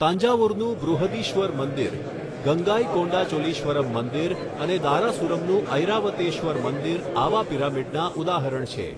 તાંજાવુરનું બૃહદીશ્વર મંદિર, ગંગાઈકોંડાચોલીશ્વરમ્ મંદિર અને દારાસુરમનું ઐરાવતેશ્વર મંદિર આવા પિરામિડના ઉદાહરણ છે.